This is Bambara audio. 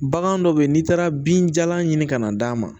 Bagan dɔ bɛ yen n'i taara binjalan ɲini ka na d'a ma